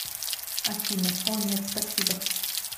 афина о нет спасибо